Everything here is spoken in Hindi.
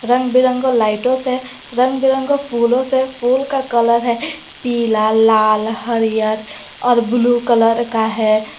रंग बिरंगी लाइटो से रंग बिरंगे फूलों से फूल का कलर है पीला लाल हरिअर और ब्लू कलर का है।